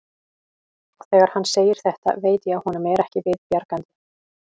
Og þegar hann segir þetta veit ég að honum er ekki við bjargandi.